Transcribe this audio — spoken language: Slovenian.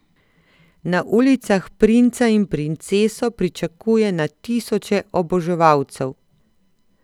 Na ulicah princa in princeso pričakuje na tisoče oboževalcev.